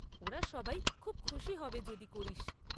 ওরা সবাই খুব খুশি হবে যদি করিস।